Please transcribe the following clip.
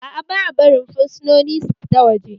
Aa, ba'a barin fursunoni su fita waje